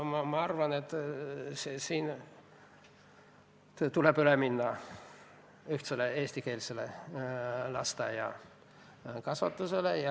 Ma arvan, et tuleb üle minna ühtsele eestikeelsele lasteaiakasvatusele.